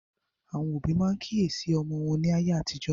Àwọn òbí máa ń kíyèsí ọmọ wọn ní ayé àtijọ́